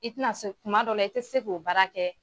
I tɛna se tuma dɔ la, i tɛ se k'o baara kɛ!